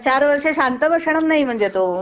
चार वर्ष शांत बसणार नाही तो